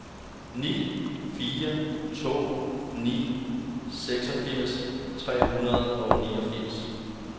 ni fire to ni seksogfirs tre hundrede og niogfirs